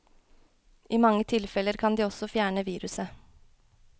I mange tilfeller kan de også fjerne viruset.